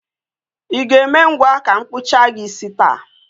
I ga-eme ngwa ka m kpụchaa gị isi taa?